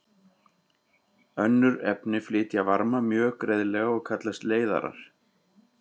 Önnur efni flytja varma mjög greiðlega og kallast leiðarar.